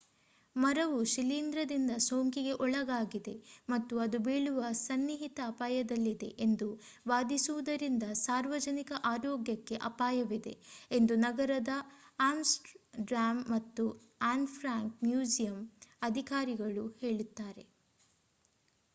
ಮರವು ಶಿಲೀಂಧ್ರದಿಂದ ಸೋಂಕಿಗೆ ಒಳಗಾಗಿದೆ ಮತ್ತು ಅದು ಬೀಳುವ ಸನ್ನಿಹಿತ ಅಪಾಯದಲ್ಲಿದೆ ಎಂದು ವಾದಿಸುವುದರಿಂದ ಸಾರ್ವಜನಿಕ ಆರೋಗ್ಯಕ್ಕೆ ಅಪಾಯವಿದೆ ಎಂದು ನಗರದ ಆಮ್ಸ್ಟರ್‌ಡ್ಯಾಮ್ ಮತ್ತು ಆನ್ ಫ್ರಾಂಕ್ ಮ್ಯೂಸಿಯಂ ಅಧಿಕಾರಿಗಳು ಹೇಳುತ್ತಾರೆ